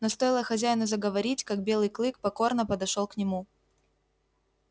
но стоило хозяину заговорить как белый клык покорно подошёл к нему